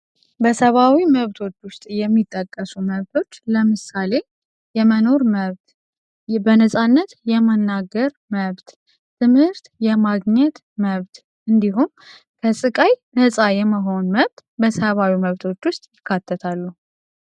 በሰባዊ መብቶች ውስጥ የሚጠቀሱ መብቶች ዉስጥ ለምሳሌ የመኖር መብት በነጻነት የመናገር መብት ት/ት የማግኘት መብት እንድሁም ከስቃይ ነጻ የመሆን መብጥ